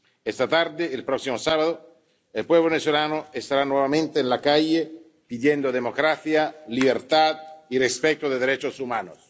Esta tarde, y el próximo sábado, el pueblo venezolano estará nuevamente en la calle pidiendo democracia, libertad y respeto de los derechos humanos.